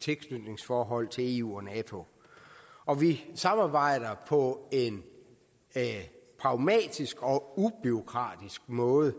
tilknytningsforhold til eu og nato og vi samarbejder på en pragmatisk og ubureaukratisk måde